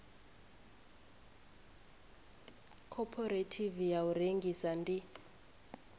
khophorethivi ya u rengisa ndi